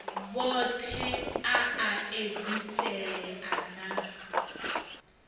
vhothe a a edziselea na